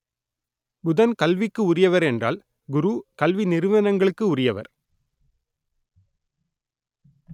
புதன் கல்விக்கு உரியவர் என்றால் குரு கல்வி நிறுவனங்களுக்கு உரியவர்